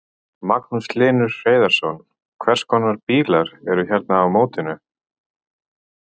Magnús Hlynur Hreiðarsson: Hvers konar bílar eru hérna á mótinu?